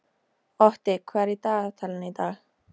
Otti, hvað er í dagatalinu í dag?